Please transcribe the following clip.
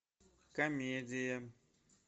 комедия